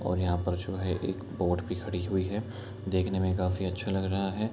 और यहाँ पर जो है एक बोट भी खड़ी हुई है देखने में काफी अच्छा लग रहा है।